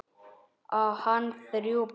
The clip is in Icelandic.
Á hann þrjú börn.